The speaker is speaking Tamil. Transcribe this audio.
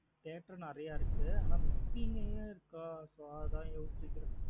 Theatre நறைய இருக்கு. ஆன book கிங் மே இருக்க. So அதான் யோசிக்கிறேன்.